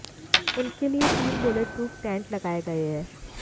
उनके लिए तीन बुलेट प्रूफ टेंट लगाए गए हैं